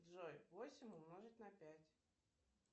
джой восемь умножить на пять